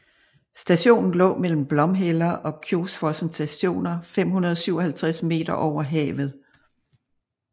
Stationen lå mellem Blomheller og Kjosfossen Stationer 557 meter over havet